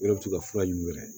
ka fura yi u yɛrɛ ye